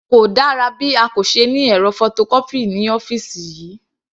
Kò dára bí a kò se ní ẹ̀rọ photocopy ní ọ́fìsì yìí.